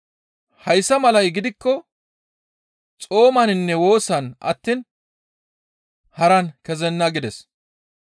Hayssa malay gidikko xoomaninne woosan attiin haran kezenna» gides.